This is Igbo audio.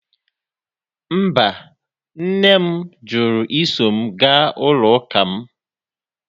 Mba, nne m jụrụ iso m gaa n'ụlọ ụka m.